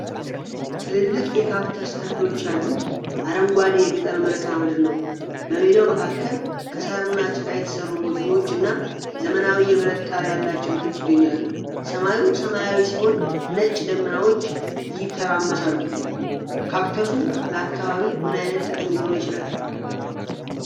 ትልልቅ የካክተስ ተክሎች ያሉት አረንጓዴ የገጠር መልክዓ ምድር ነው። በሜዳው መካከል ከሳርና ጭቃ የተሠሩ ጎጆዎች እና ዘመናዊ የብረት ጣሪያ ያላቸው ቤቶች ይገኛሉ። ሰማዩ ሰማያዊ ሲሆን ነጭ ደመናዎች ይተራመሳሉ። ካክተሱ ለአካባቢው ምን አይነት ጥቅም ሊኖረው ይችላል?